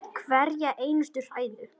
Hverja einustu hræðu!